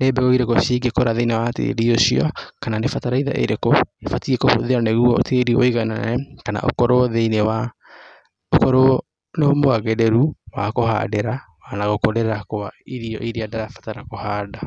nĩ mbegũ irĩkũ cingĩkura thĩinĩ wa tĩri ũcio kana nĩ bataraitha ĩrĩkũ ĩbatiĩ kũhũthĩrwo nĩguo tĩri ũiganane kana ũkorwo nĩmwagĩrĩru wa kũhandĩra na gũkũrĩ kwa irio iria ndĩrabatara kũhanda.